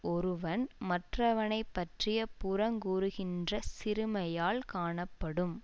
ஒருவன் மற்றவனை பற்றி புறங்கூறுகின்ற சிறுமையால் காணப்படும்